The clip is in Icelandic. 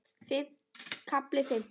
KAFLI FIMMTÁN